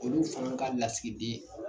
Olu fana ka lasigiden.